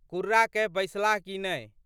कुर्रा कए बैसलाह कि नहि।